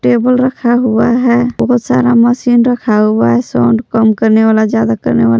Table रखा हुआ है बहोत सारा मशीन रखा हुआ है साउंड कम करने वाला ज्यादा करने वाला।